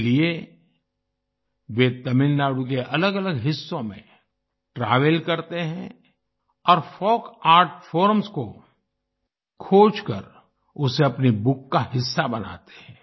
इसके लिए वे तमिलनाडु के अलगअलग हिस्सों में ट्रैवल करते हैं और फोल्क आर्ट फॉर्म्स को खोज कर उसे अपनी बुक का हिस्सा बनाते हैं